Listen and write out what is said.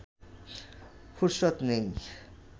ফুরসত নেই